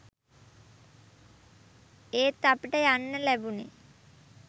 එත් අපිට යන්න ලැබුනේ